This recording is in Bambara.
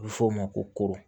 A bɛ fɔ o ma ko